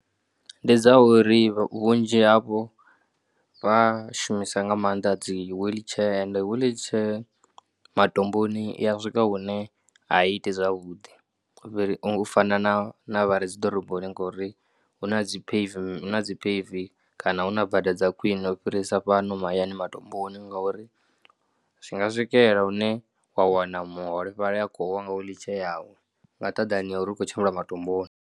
Ndi dza uri vhunzhi havho vha shumisa nga maanḓa dzi wheelchair ende wheelchair matomboni i ya swika hune a i iti zwavhuḓi u fana na na vha re dzi ḓoroboni ngori hu na dzi pave, hu na dzi pave kana hu na bada dza khwiṋe u fhirisa fhano mahayani matomboni ngauri zwi nga swikela hune wa wana muholefhali a khou wa nga wheelchair yawe nga nṱhadani ha uri u khou tshimbila matomboni.